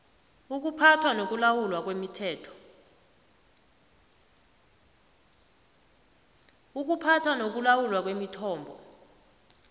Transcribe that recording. ukuphathwa nokulawulwa kwemithombo